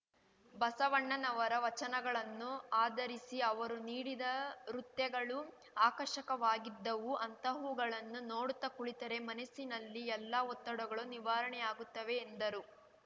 ಬಸವಣ್ಣನವರ ವಚನಗಳನ್ನು ಆಧರಿಸಿ ಅವರು ನೀಡಿದ ರುತ್ಯಗಳು ಆಕರ್ಷಕವಾಗಿದ್ದವು ಅಂತಹುಗಳನ್ನು ನೋಡುತ್ತಾ ಕುಳಿತರೆ ಮನಸ್ಸಿನಲ್ಲಿನ ಎಲ್ಲ ಒತ್ತಡಗಳು ನಿವಾರಣೆಯಾಗುತ್ತವೆ ಎಂದರು